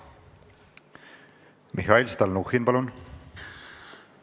Mihhail Stalnuhhin, palun!